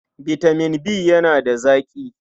Bitamin B yana da zaƙi.